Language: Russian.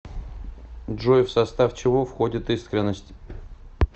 джой в состав чего входит искренность